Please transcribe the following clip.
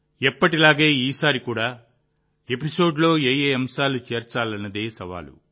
ఎప్పటిలాగే ఈసారి కూడా ఎపిసోడ్లో ఏ అంశాలను చేర్చాలనేదే సవాలు